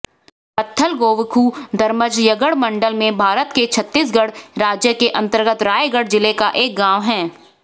पत्थलगोवखुधरमजयगढ मण्डल में भारत के छत्तीसगढ़ राज्य के अन्तर्गत रायगढ़ जिले का एक गाँव है